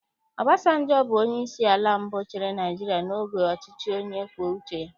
Obasanjọ bụ onyeisi ala mbụ chịrị Naịjirịa n'oge ọchịchị onye kwue uche ya